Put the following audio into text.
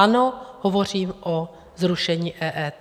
Ano, hovořím o zrušení EET.